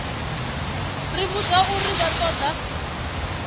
ri vhudza uri vha ṱoḓa